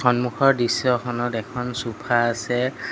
সন্মুখৰ দৃশ্যখনত এখন চোফা আছে।